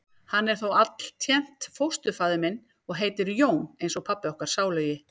Hann er þó altént fósturfaðir minn. og heitir Jón eins og pabbi okkar sálugi.